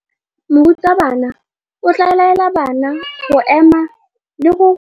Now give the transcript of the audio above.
Morutabana o tla laela bana go ema le go go dumedisa.